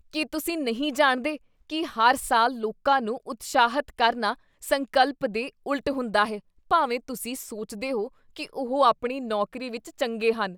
ਕੀ ਤੁਸੀਂ ਨਹੀਂ ਜਾਣਦੇ ਕੀ ਹਰ ਸਾਲ ਲੋਕਾਂ ਨੂੰ ਉਤਸ਼ਾਹਿਤ ਕਰਨਾ ਸੰਕਲਪ ਦੇ ਉਲਟ ਹੁੰਦਾ ਹੈ ਭਾਵੇਂ ਤੁਸੀਂ ਸੋਚਦੇ ਹੋ ਕੀ ਉਹ ਆਪਣੀ ਨੌਕਰੀ ਵਿੱਚ ਚੰਗੇ ਹਨ?